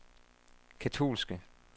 katolske